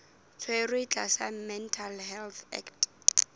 tshwerwe tlasa mental health act